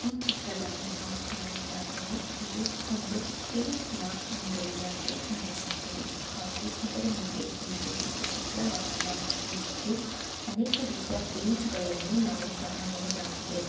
ಈ ಚಿತ್ರದಲ್ಲಿ ನಾವು ಕಾಣುವುದಾದರೆ ಇದು ಒಂದು ಪೈಂಟ್ ನ ಅಂಗಡಿಯಾಗಿ ಕಾಣಿಸುತ್ತದೆ ಹಾಗು ಇದರ ಮುಂದೆ ಒಂದು ದ್ವಿಚಕ್ರ ವಾಹನವು ಇದ್ದು ಅನೇಕ ರೀತಿಯ ಪೈಂಟ್ಗಳನ್ನು ನಾವು ಕಾಣಬಹುದಾಗಿದೆ.